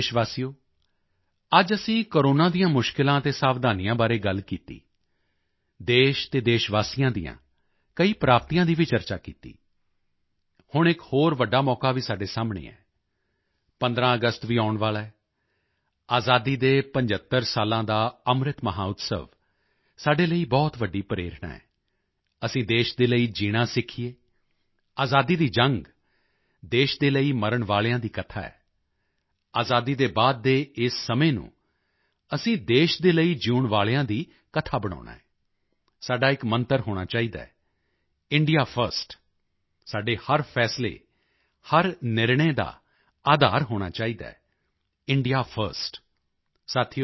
ਮੇਰੇ ਪਿਆਰੇ ਦੇਸ਼ਵਾਸੀਓ ਅੱਜ ਅਸੀਂ ਕੋਰੋਨਾ ਦੀਆਂ ਮੁਸ਼ਕਿਲਾਂ ਅਤੇ ਸਾਵਧਾਨੀਆਂ ਬਾਰੇ ਗੱਲ ਕੀਤੀ ਦੇਸ਼ ਅਤੇ ਦੇਸ਼ ਵਾਸੀਆਂ ਦੀਆਂ ਕਈ ਪ੍ਰਾਪਤੀਆਂ ਦੀ ਵੀ ਚਰਚਾ ਕੀਤੀ ਹੁਣ ਇਕ ਹੋਰ ਵੱਡਾ ਮੌਕਾ ਵੀ ਸਾਡੇ ਸਾਹਮਣੇ ਹੈ 15 ਅਗਸਤ ਵੀ ਆਉਣ ਵਾਲਾ ਹੈ ਆਜ਼ਾਦੀ ਦੇ 75 ਸਾਲਾਂ ਦਾ ਅੰਮ੍ਰਿਤ ਮਹੋਤਸਵ ਸਾਡੇ ਲਈ ਬਹੁਤ ਵੱਡੀ ਪ੍ਰੇਰਣਾ ਹੈ ਅਸੀਂ ਦੇਸ਼ ਦੇ ਲਈ ਜੀਣਾ ਸਿੱਖੀਏ ਆਜ਼ਾਦੀ ਦੀ ਜੰਗ ਦੇਸ਼ ਦੇ ਲਈ ਮਰਨ ਵਾਲਿਆਂ ਦੀ ਕਥਾ ਹੈ ਆਜ਼ਾਦੀ ਦੇ ਬਾਅਦ ਦੇ ਇਸ ਸਮੇਂ ਨੂੰ ਅਸੀਂ ਦੇਸ਼ ਦੇ ਲਈ ਜਿਊਣ ਵਾਲਿਆਂ ਦੀ ਕਥਾ ਬਣਾਉਣਾ ਹੈ ਸਾਡਾ ਇਕ ਮੰਤਰ ਹੋਣਾ ਚਾਹੀਦਾ ਹੈ ਇੰਡੀਆ ਫਰਸਟ ਸਾਡੇ ਹਰ ਫੈਸਲੇ ਹਰ ਨਿਰਣੈ ਦਾ ਅਧਾਰ ਹੋਣਾ ਚਾਹੀਦਾ ਹੈ ਇੰਡੀਆ ਫਰਸਟ